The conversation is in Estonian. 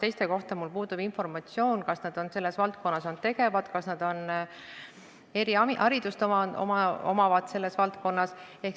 Teiste kohta mul puudub informatsioon, kas nad selles valdkonnas on tegevad, kas nad eriharidust omavad selles valdkonnas.